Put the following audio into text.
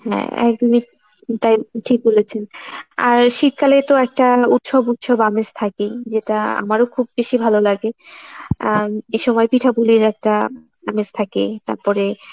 হ্যাঁ একদমই তাই, ঠিক বলেছেন। আর শীতকালেতো একটা উৎসব উৎসব আমেজ থেকেই যেটা আমারো খুব বেশি ভালো লাগে আহ এসময় পিঠাফুলির একটা আমেজ থাকে তাপরে